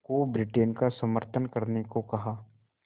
को ब्रिटेन का समर्थन करने को कहा